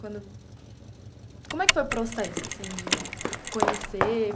Quando...como é que foi o processo assim de conhecer?